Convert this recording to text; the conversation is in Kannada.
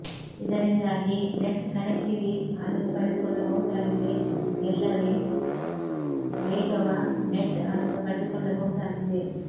ಇದರಿಂದಾಗಿ ನೆಟ್ ಕನೆಕ್ಟಿವಿ ಅನ್ನು ಪಡೆದುಕೊಳ್ಳಬಹುದಾಗಿದೆ ಎಲ್ಲವೇ ವೇಗವ ನೆಟ್ ಅನ್ನು ಪಡೆದುಕೊಳ್ಳಬಹುದಾಗಿದೆ